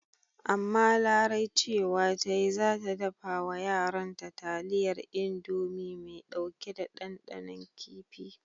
Amma Larai cewa ta yi ce za ta dafa wa yaranta taliyar Indomi mai ɗauke da ɗanɗanon kifi.